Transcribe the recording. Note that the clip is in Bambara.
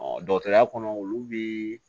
dɔgɔtɔrɔya kɔnɔ olu bi